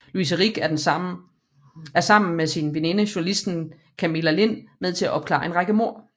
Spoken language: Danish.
Louise Rick er sammen med sin veninde journalisten Camilla Lind med til at opklare en række mord